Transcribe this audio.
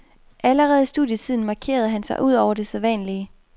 Allerede i studietiden markerede han sig udover det sædvanlige.